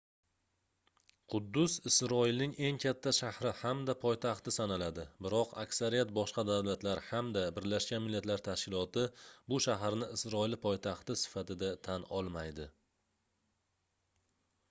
quddus isroilning eng katta shahri hamda poytaxti sanaladi biroq aksariyat boshqa davlatlar hamda birlashgan millatlar tashkiloti bu shaharni isroil poytaxti sifatida tan olmaydi